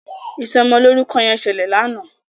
Ìsomo lórúko yen ṣẹlẹ lànà.